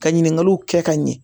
Ka ɲininkaliw kɛ ka ɲɛ